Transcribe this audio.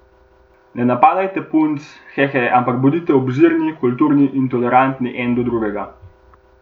Ne napadajte punc, hehe, ampak bodite obzirni, kulturni in tolerantni eden do drugega.